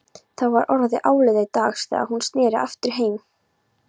Það var orðið áliðið dags þegar hún sneri aftur heim.